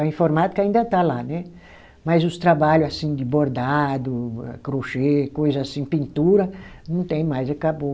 A informática ainda está lá, né, mas os trabalho assim de bordado, crochê, coisa assim pintura, não tem mais, acabou.